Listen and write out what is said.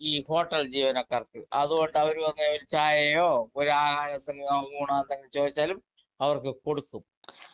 speaker 2 ഈ hotel ജീവനക്കാർക്ക് അതുകൊണ്ട് അവര് ഒക്കെ ഒരു ചായയോ ഒരു ആഹാര സാധനമോ ഊണൊ എന്തെങ്കിലും ചോദിച്ചാലും അവർക്ക് കൊടുക്കും